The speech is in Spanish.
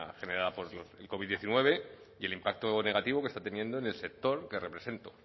generada por el covid diecinueve y el impacto negativo que está teniendo en el sector que represento